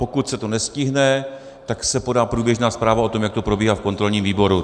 Pokud se to nestihne, tak se podá průběžná zpráva o tom, jak to probíhá v kontrolním výboru.